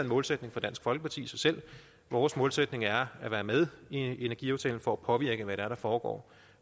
målsætning for dansk folkeparti i sig selv vores målsætning er at være med i en energiaftale for at påvirke hvad det er der foregår